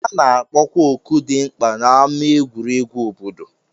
A na-akpọkwa oku dị mkpa n'ámá egwuregwu obodo